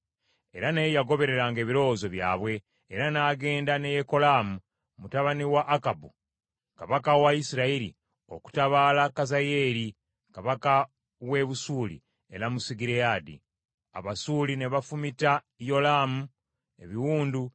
Era naye yagobereranga ebirowoozo byabwe, era n’agenda ne Yekolaamu, mutabani wa Akabu kabaka wa Isirayiri okutabaala Kazayeeri kabaka w’e Busuuli e Lamosugireyaadi. Abasuuli ne bafumita Yolaamu ebiwundu